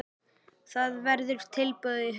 Það verður tilbúið í haust.